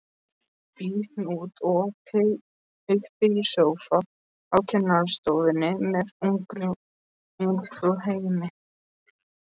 Í hnút uppi í sófa á kennarastofunni með Ungfrú heimi!